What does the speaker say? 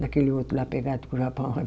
Naquele outro lá pegado com o Japão